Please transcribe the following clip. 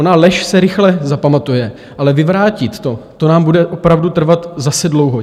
Ona lež se rychle zapamatuje, ale vyvrátit to, to nám bude opravdu trvat zase dlouho.